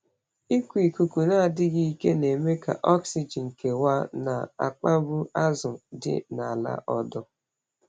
Ịkụ ikuku na-adịghị ike na-eme ka oxygen kewaa, na-akpagbu azụ dị n’ala ọdọ.